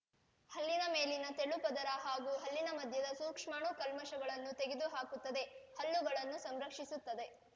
ಹಲ್ಲಿನ ಮೇಲಿನ ತೆಳು ಪದರ ಹಾಗೂ ಹಲ್ಲಿನ ಮಧ್ಯದ ಸೂಕ್ಷ್ಮಾಣು ಕಲ್ಮಷಗಳನ್ನು ತೆಗೆದು ಹಾಕುತ್ತದೆ ಹಲ್ಲುಗಳನ್ನು ಸಂರಕ್ಷಿಸುತ್ತದೆ